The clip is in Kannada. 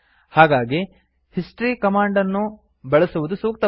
ಹಾಗಾಗಿ ಹಿಸ್ಟ್ರಿ ಕಮಾಂಡ್ ಅನ್ನು ಬಳಸುವುದು ಸೂಕ್ತವಾಗಿದೆ